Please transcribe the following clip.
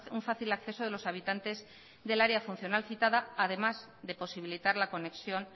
un fácil acceso de los habitantes del área funcional citada además de posibilitar la conexión